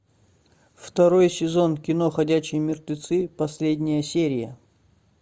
второй сезон кино ходячие мертвецы последняя серия